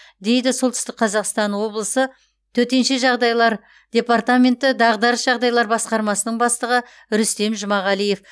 дейді солтүстік қазақстан облысы төтенше жағдайлар департаменті дағдарыс жағдайлар басқармасының бастығы рүстем жұмағалиев